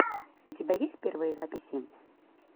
у тебя есть первые записи